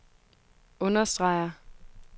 understreger